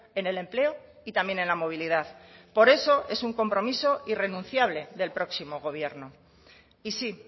en el empleo y también en la movilidad por eso es un compromiso irrenunciable del próximo gobierno y sí